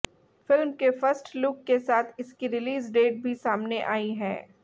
film के first look के साथ इसकी रिलीज डेट भी सामने आई है